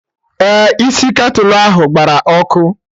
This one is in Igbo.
Ee, isi ketulu ahụ gbara ọkụ